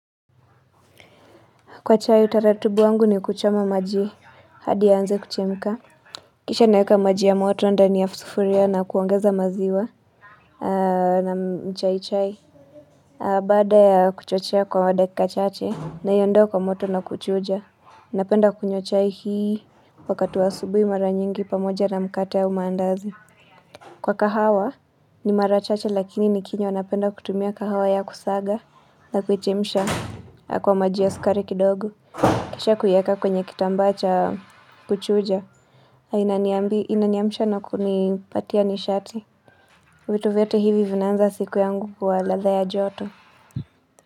Kwa chai utaratibu wangu ni kuchoma maji hadi ianze kuchemka. Kisha naeka maji ya moto ndani ya sufuria na kuongeza maziwa na mchai chai. Bada ya kuchochea kwa dakika chache naiondoa kwa moto na kuchuja. Napenda kunywa chai hii wakati wa asubui mara nyingi pamoja na mkate au maandazi. Kwa kahawa ni mara chache lakini nikinywa napenda kutumia kahawa ya kusaga na kuchemsha kwa maji ya sukari kidogo. Kisha kuieka kwenye kitambacha kuchuja inaniamsha na kunipatia nishati vitu vyote hivi vinaanza siku yangu kuwa ladhaa ya joto.